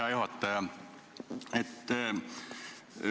Hea juhataja!